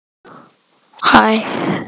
Kristján Már: Hvernig meturðu framhaldið?